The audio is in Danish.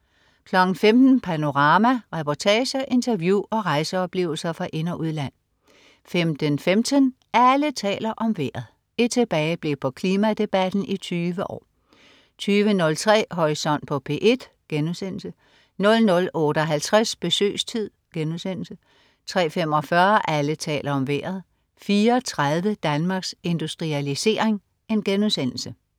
15.00 Panorama. Reportager, interview og rejseoplevelser fra ind- og udland 15.15 Alle taler om vejret. Et tilbageblik på klimadebatten i 20 år 20.03 Horisont på P1* 00.58 Besøgstid* 03.45 Alle taler om Vejret 04.30 Danmarks Industrialisering*